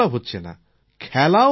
হাঁটাচলা হচ্ছে না